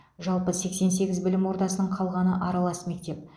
жалпы сексен сегіз білім ордасының қалғаны аралас мектеп